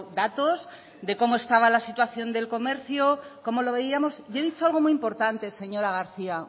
datos de cómo estaba la situación del comercio cómo lo veíamos y he dicho algo muy importante señora garcía